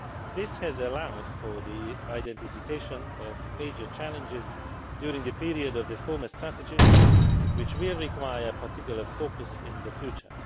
This has permitted the identification of major challenges during the period of the former Strategy, which will require a particular focus in the future.